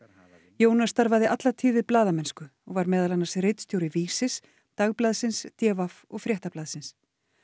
Jónas starfaði alla tíð við blaðamennsku og var meðal annars ritstjóri Vísis Dagblaðsins d v og Fréttablaðsins